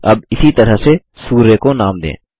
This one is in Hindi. अब इसी तरह से सूर्य को नाम दें